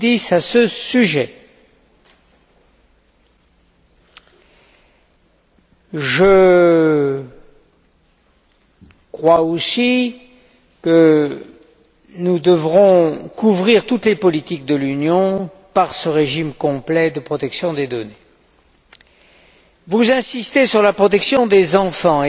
2010. Je crois aussi que nous devrons couvrir toutes les politiques de l'Union par ce régime complet de protection des données. Vous insistez sur la protection des enfants.